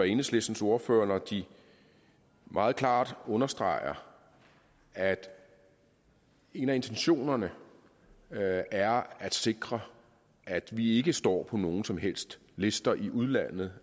enhedslistens ordførere når de meget klart understreger at en af intentionerne er at sikre at vi ikke står på nogen som helst liste i udlandet